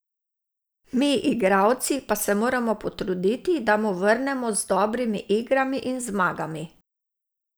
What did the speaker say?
Mi, igralci, pa se moramo potruditi, da mu vrnemo z dobrimi igrami in zmagami.